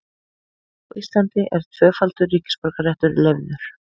Á Íslandi er tvöfaldur ríkisborgararéttur leyfður.